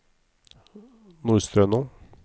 Nordstrøno